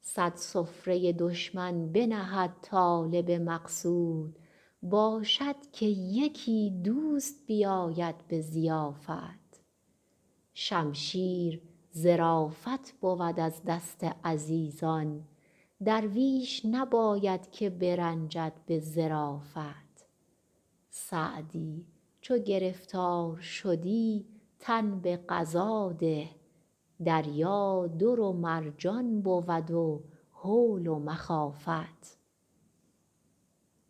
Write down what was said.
صد سفره دشمن بنهد طالب مقصود باشد که یکی دوست بیاید به ضیافت شمشیر ظرافت بود از دست عزیزان درویش نباید که برنجد به ظرافت سعدی چو گرفتار شدی تن به قضا ده دریا در و مرجان بود و هول و مخافت